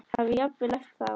Hafi jafnvel æpt á þá.